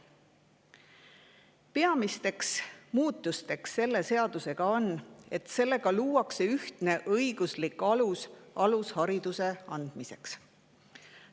Peamine muutus, mis selle eelnõuga, on see, et luuakse ühtne õiguslik alus alushariduse andmiseks.